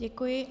Děkuji.